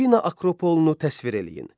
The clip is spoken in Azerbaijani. Afina akropolunu təsvir eləyin.